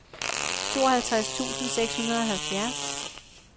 tooghalvtreds tusind seks hundrede og halvfjerds